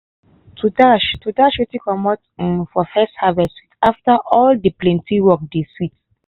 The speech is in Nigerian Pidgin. to dash to dash wetin comot um for first harvest with after all de plenty work de sweet.